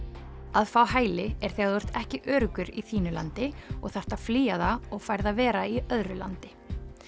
að fá hæli er þegar þú ert ekki öruggur í þínu landi og þarft að flýja það og færð að vera í öðru landi